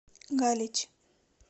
галич